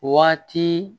Waati